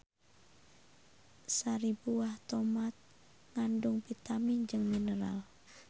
Sari buah tomat ngandung vitamin jeung mineral.